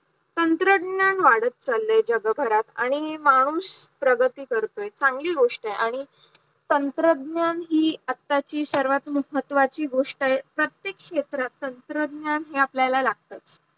तंत्रज्ञान वाढत चाललंय जगभरात आणि माणूस प्रगती करतोय चांगली गोष्ट आहे आणि तंत्रज्ञान हि आताची सर्वात महत्वाची गोष्ट आहे प्रत्येक क्षेत्रात तंत्रज्ञान हे आपल्याला लागते